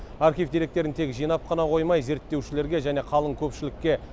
архив деректерін тек жинап қана қоймай зерттеушілерге және қалың көпшілікке